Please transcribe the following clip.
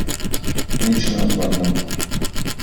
Nič ne odvrnem.